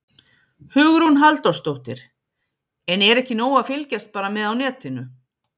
Hugrún Halldórsdóttir: En er ekki nóg að fylgjast bara með á netinu?